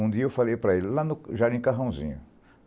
Um dia eu falei para ele, lá no Jardim Carrãozinho.